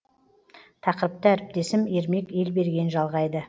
тақырыпты әріптесім ермек елберген жалғайды